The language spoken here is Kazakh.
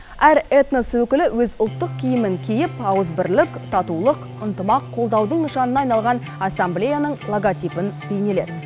әр этнос өкілі өз ұлттық киімін киіп ауызбірлік татулық ынтымақ қолдаудың нышанына айналған ассамблеяның логотипін бейнеледі